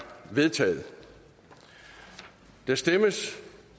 vedtaget der stemmes